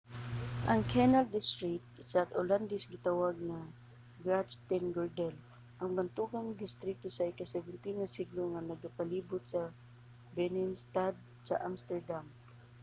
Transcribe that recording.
ang canal district sa olandes gitawag nga grachtengordel ang bantogang distrito sa ika-17 nga siglo nga nagapalibot sa binnenstad sa amsterdam